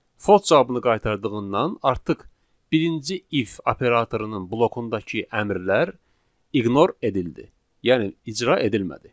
False cavabını qaytardığından artıq birinci if operatorunun blokundakı əmrlər iqnor edildi, yəni icra edilmədi.